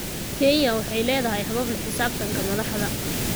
Kenya waxay leedahay habab la xisaabtanka madaxda.